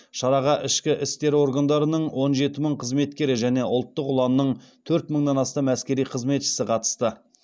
шараға ішкі істер органдарының он жеті мың қызметкері және ұлттық ұланның төрт мыңнан астам әскери қызметшісі қатысты